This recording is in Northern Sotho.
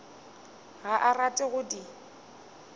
ga a rate go di